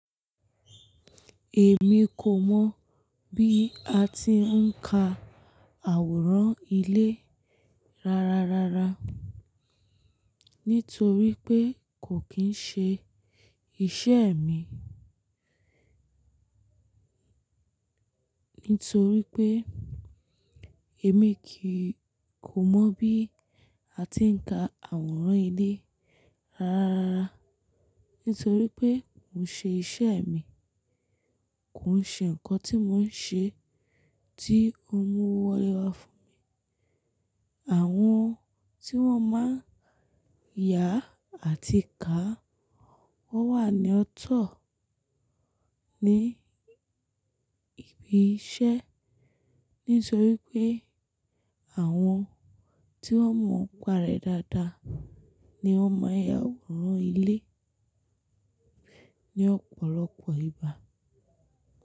Èmi kò mọ̀ bí a ti ń ka àwòrán ilé ráráa, ráráa, nítorí pé kò kín ṣe iṣẹ́ mi. Nítorí pé èmi kìí-- kò mọ̀ bí a ti ń ka àwòrán ilé ráráa, ráráa, nítorí pé kò ṣe iṣẹ́ mi. Kò ṣe nǹkan tí mò ń ṣe tí ó mú owọ walé wá fún mi. Àwọn tí wọ́n má ń yà àti ká wọ́n wà ní ọ̀tọ̀ ní ibi iṣẹ́. Nítorí pé àwọn tí wọ́n mọ ọ̀pá rẹ dáadáa ni wọ́n máa ya àwòrán ilé ní ọ̀pọ̀lọpọ̀ ìgba.